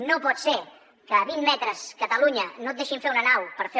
no pot ser que a vint metres catalunya no et deixin fer una nau per fer